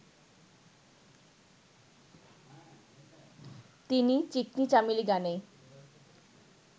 তিনি 'চিকনি চামেলি' গানেই